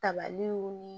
Tabaliw ni